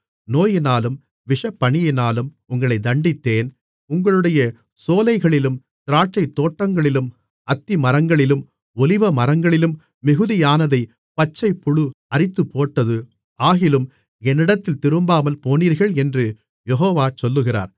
நோயினாலும் விஷப்பனியினாலும் உங்களைத் தண்டித்தேன் உங்களுடைய சோலைகளிலும் திராட்சைத்தோட்டங்களிலும் அத்திமரங்களிலும் ஒலிவமரங்களிலும் மிகுதியானதைப் பச்சைப்புழு அரித்துப்போட்டது ஆகிலும் என்னிடத்தில் திரும்பாமல்போனீர்கள் என்று யெகோவா சொல்லுகிறார்